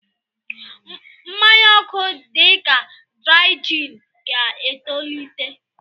mmanya oku dị ka Dry Gin ga-etolite.